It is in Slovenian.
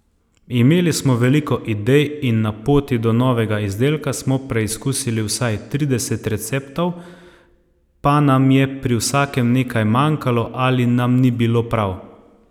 Imeli smo veliko idej in na poti do novega izdelka smo preizkusili vsaj trideset receptov, pa nam je pri vsakem nekaj manjkalo ali nam ni bilo prav.